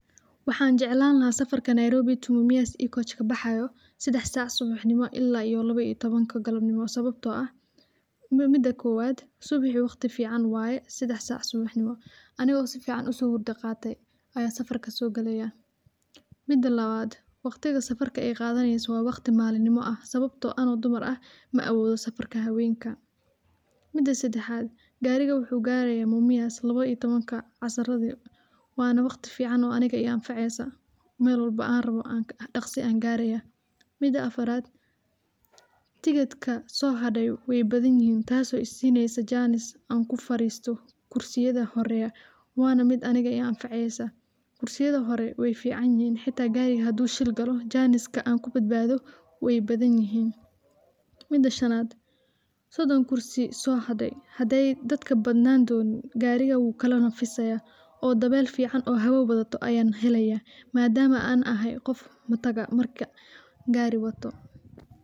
Waxan jeclan laha safarka Nairobi to Mumias E-coachka baxayo sedax sac subaxnimo ila iyo lawa iyo tobanka galabnimo sababto ah, mida kowad subaxi wagti fican waye sedax sac subaxnimo, anigo sifican uso hurda qate aya safarka sogalayah. Mida lawad waqtiga safarka ay qadaneyso wa waqti malinimo ah sababto ah ano dumar ah ma awodo safarka hawenka. Mida sedaxad gariga wuxu garaya Mumias lawa iyo tobanka casiradi wana waqti fican oo aniga ii anfaceso mel walbo an rawo daqsi an garaya. Mida afarad tikidka sohare weybathanyihin tas oo isineyso chance an kufaristo kursiyada horeya, wa na mid aniga i anfaceysa. Kursiyadi hore weyficanyihin hita gariga hadu shil galo janiska ankubadbado weybadanyihin. Mida shanad sodhon kursi sohadey hadey dadka badnan donin gariga uu kala nafisayaah oo dawel fican oo haawo wadato aya lahelayah madama an ahay qof mataga marka gari watoh.